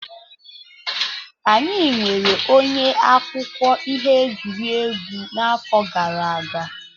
Anyị nweere onye akụkọ ihe egwuregwu n'afọ gara aga.